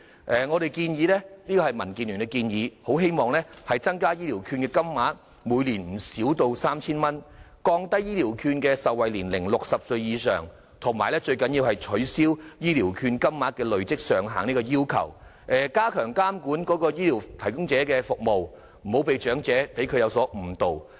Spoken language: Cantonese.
民主建港協進聯盟建議增加醫療券金額，每年不少於 3,000 元、降低醫療券的受惠年齡至60歲以上，最重要的是取消醫療券金額的累積上限，以及加強監管醫療服務提供者的服務，不要讓長者有所誤導。